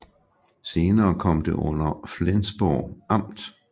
Senere kom det under Flensborg Amt